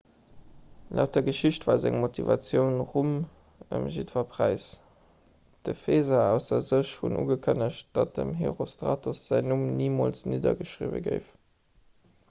laut der geschicht war seng motivatioun rum ëm jiddwer präis d'epheser ausser sech hunn ugekënnegt datt dem herostratos säin numm nimools niddergeschriwwe géif